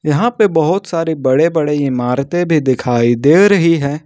यहां पे बहुत सारी बड़े बड़े इमारतें भी दिखाई दे रही है।